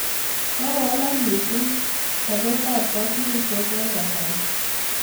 Kokowalak missing' sopet ap katunisyet eng' kasari